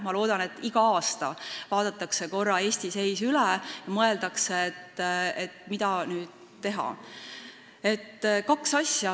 Ma loodan, et iga aasta vaadatakse korra Eesti seis üle ja mõeldakse, mida teha.